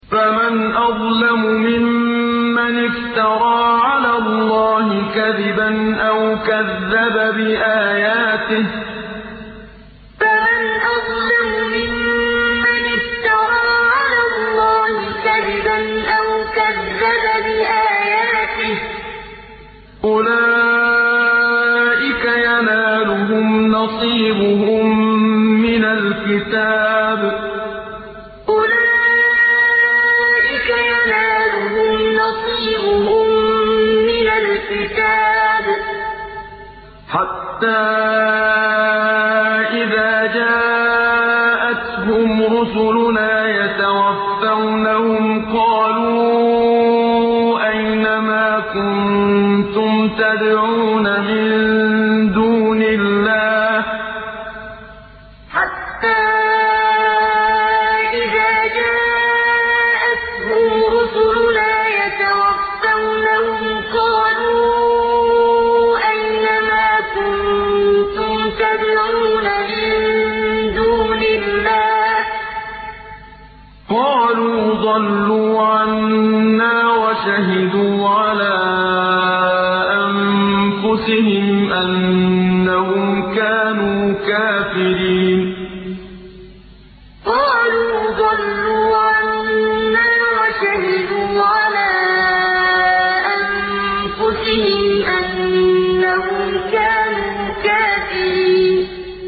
فَمَنْ أَظْلَمُ مِمَّنِ افْتَرَىٰ عَلَى اللَّهِ كَذِبًا أَوْ كَذَّبَ بِآيَاتِهِ ۚ أُولَٰئِكَ يَنَالُهُمْ نَصِيبُهُم مِّنَ الْكِتَابِ ۖ حَتَّىٰ إِذَا جَاءَتْهُمْ رُسُلُنَا يَتَوَفَّوْنَهُمْ قَالُوا أَيْنَ مَا كُنتُمْ تَدْعُونَ مِن دُونِ اللَّهِ ۖ قَالُوا ضَلُّوا عَنَّا وَشَهِدُوا عَلَىٰ أَنفُسِهِمْ أَنَّهُمْ كَانُوا كَافِرِينَ فَمَنْ أَظْلَمُ مِمَّنِ افْتَرَىٰ عَلَى اللَّهِ كَذِبًا أَوْ كَذَّبَ بِآيَاتِهِ ۚ أُولَٰئِكَ يَنَالُهُمْ نَصِيبُهُم مِّنَ الْكِتَابِ ۖ حَتَّىٰ إِذَا جَاءَتْهُمْ رُسُلُنَا يَتَوَفَّوْنَهُمْ قَالُوا أَيْنَ مَا كُنتُمْ تَدْعُونَ مِن دُونِ اللَّهِ ۖ قَالُوا ضَلُّوا عَنَّا وَشَهِدُوا عَلَىٰ أَنفُسِهِمْ أَنَّهُمْ كَانُوا كَافِرِينَ